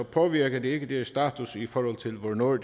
påvirker det ikke status i forhold til hvornår